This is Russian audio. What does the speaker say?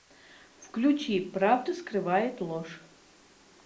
включи правду скрывает ложь